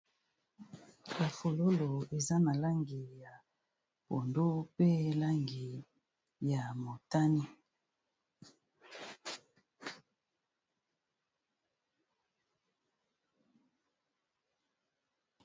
Ba fololo eza na langi ya pondu pe langi ya motane.